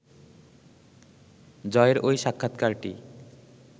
জয়ের ওই সাক্ষাৎকারটি